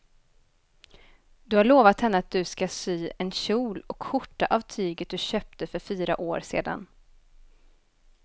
Du har lovat henne att du ska sy en kjol och skjorta av tyget du köpte för fyra år sedan.